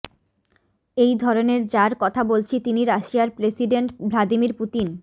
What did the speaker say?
এই ধরনের যার কথা বলছি তিনি রাশিয়ার প্রেসিডেন্ট ভ্লাদিমির পুতিন